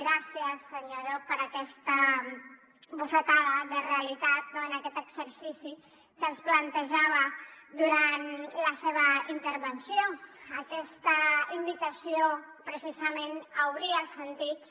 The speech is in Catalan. gràcies senyor llop per aquesta bufetada de realitat en aquest exercici que ens plantejava durant la seva intervenció aquesta invitació precisament a obrir els sentits